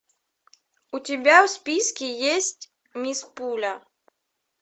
у тебя в списке есть мисс пуля